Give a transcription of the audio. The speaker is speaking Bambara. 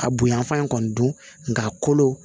A bonyan fan in kɔni dun nga a kolo